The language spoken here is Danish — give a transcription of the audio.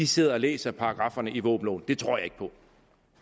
sidder og læser paragrafferne i våbenloven det tror jeg ikke på